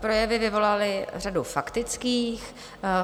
Projevy vyvolaly řadu faktických.